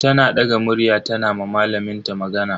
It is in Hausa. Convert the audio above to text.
Tana daga murya tana ma malamin ta magana.